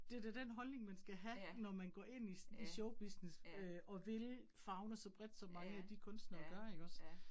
Det da den holdning, man skal have, når man går ind i sådan show business øh og vil favne så bredt som mange af de kunstnere gør ikke også